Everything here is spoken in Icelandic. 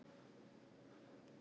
Það er þjófur í fatahenginu.